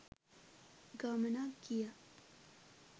ගමනක් ගියා.